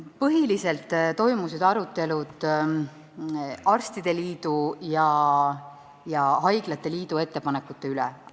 Põhiliselt toimusid arutelud arstide liidu ja haiglate liidu ettepanekute üle.